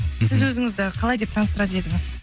сіз өзіңізді қалай деп таныстырар едіңіз